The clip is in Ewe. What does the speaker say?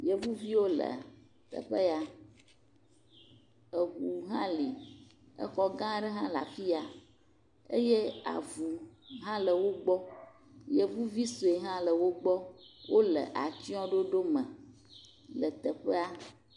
Yevuviwo le teƒe ya, eŋu hã li. Exɔ gã aɖe hã le afi ya eye avu hã le wogbɔ. Yevuvi sɔe hã le wogbɔ, wole atsyɔe ɖoɖo me le teƒea.